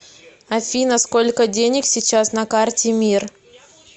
афина сколько денег сейчас на карте мир